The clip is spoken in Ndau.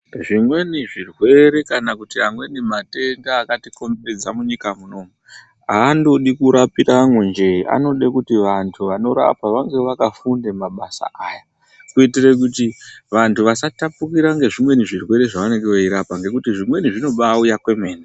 Zvimweni zvirwere kana amweni matenda akatikomberedza munyika munomu aandodi kurapiramwo njee, anode kuti vantu vanorapa vange vakafunde mabasa aya, kuitire kuti vantu vasatapukira zvimweni zvirwere zvavanenge veirapa nekuti zvimweni zvirwere zvinoba auya kwemene.